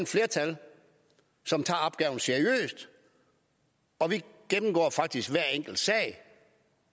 flertal som tager opgaven seriøst og vi gennemgår faktisk hver enkelt sag